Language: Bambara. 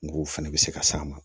Ng'o fɛnɛ bɛ se ka s'a ma